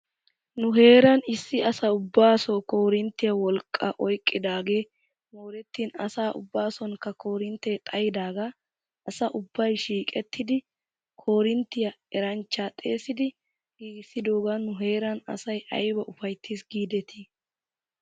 Nu heeran issi asaa ubaaso korintyiyaa wolqqaa oyqqidaagee moorettin asa ubaasonkka korinttee xayidaagaa asa ubbay shiiqettidi korinttiyaa efanchchaa xeesidi giigissidoogan nu heraa asay ayba ufayttis iidetii?